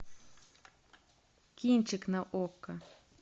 кинчик на окко